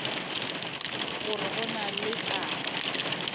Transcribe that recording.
gore go na le taba